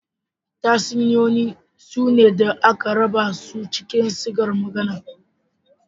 Tatsuniyoyi sune da aka raba su cikin sigar magana.